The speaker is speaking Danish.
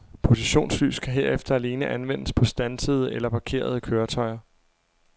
Positionslys kan herefter alene anvendes på standsede eller parkerede køretøjer.